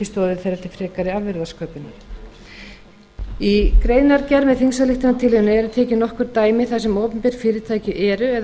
frekari afurðasköpunar í greinargerð með þingsályktunartillögunni eru tekin nokkur dæmi þar sem opinber fyrirtæki eru eða